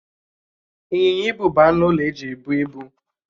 Ịnyịnya ibu bụ anụ ụlọ eji ebụ ibu.